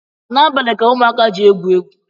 N’abalị ka ụmụaka ji egwu egwu